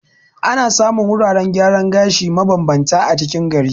Ana samun wuraren gyaran gashi ma bambanta a cikin gari.